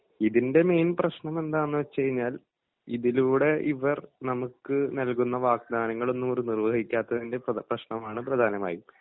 ഇതിൻ്റെ മെയിൻ പ്രശ്നം എന്താന്ന് വെച്ചുകഴിഞ്ഞാൽ ഇതിലൂടെ ഇവർ നമുക്ക് നൽകുന്ന വാഗ്ദാനങ്ങളൊന്നും അവർ നിർവഹിക്കാത്തതിൻ്റെ പ്ര പ്രശ്നമാണ് പ്രധാനമായും.